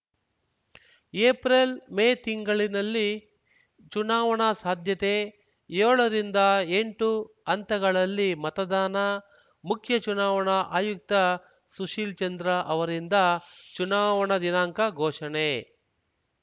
April May ತಿಂಗಳಿನಲ್ಲಿ ಚುನಾವಣಾ ಸಾಧ್ಯತೆ ಯೋಳರಿಂದ ಎಂಟು ಹಂತಗಳಲ್ಲಿ ಮತದಾನ ಮುಖ್ಯ ಚುನಾವಣಾ ಆಯುಕ್ತ ಸುಶೀಲ್ ಚಂದ್ರ ಅವರಿಂದ ಚುನಾವಣಾ ದಿನಾಂಕ ಘೋಷಣೆ